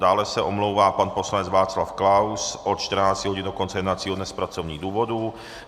Dále se omlouvá pan poslanec Václav Klaus od 14.00 hodin do konce jednacího dne z pracovních důvodů.